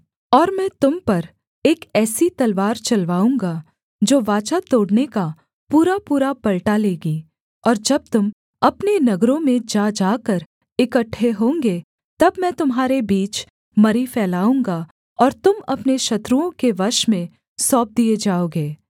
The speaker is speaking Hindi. और मैं तुम पर एक ऐसी तलवार चलवाऊँगा जो वाचा तोड़ने का पूरापूरा पलटा लेगी और जब तुम अपने नगरों में जा जाकर इकट्ठे होंगे तब मैं तुम्हारे बीच मरी फैलाऊँगा और तुम अपने शत्रुओं के वश में सौंप दिए जाओगे